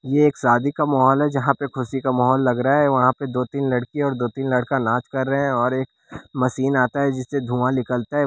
ये एक शादी का माहौल है जहां पे खुशी का माहौल लग रहा है वहां पे दो तीन लड़की और दो तीन लड़का नाच कर रहे हैं और एक मशीन आता है जिससे धुंआ निकलता है।